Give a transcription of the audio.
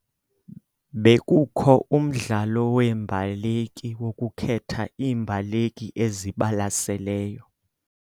Bekukho umdlalo weembaleki wokukhetha iimbaleki ezibalaseleyo.